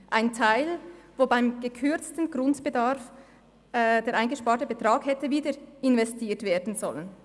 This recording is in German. Ein Teil des beim gekürzten Grundbedarf eingesparten Betrags hätte wieder investiert werden sollen.